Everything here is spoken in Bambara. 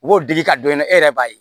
U b'o digi ka dɔn e la e yɛrɛ b'a ye